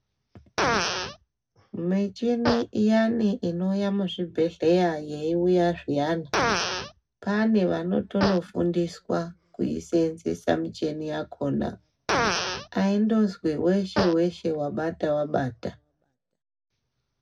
Michini iyani inouya muzvibhedhleya yeiuya zviyani pane vanotonofundiswa kuiseenzesa michini yakona aindozi weshe -weshe wabata wabata.